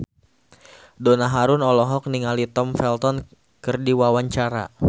Donna Harun olohok ningali Tom Felton keur diwawancara